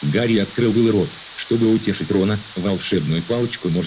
гарри открыл было рот чтобы утешить рона волшебную палочку можно